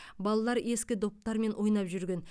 балалар ескі доптармен ойнап жүрген